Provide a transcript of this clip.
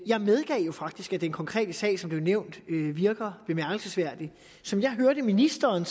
jeg medgav jo faktisk at den konkrete sag som blev nævnt virker bemærkelsesværdig som jeg hørte ministeren